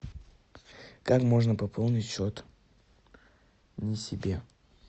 как можно пополнить счет не себе